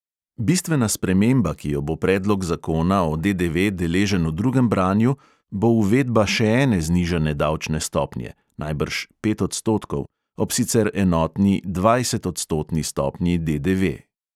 Bistvena sprememba, ki jo bo predlog zakona o DDV deležen v drugem branju, bo uvedba še ene znižane davčne stopnje (najbrž pet odstotkov) ob sicer enotni dvajsetodstotni stopnji DDV.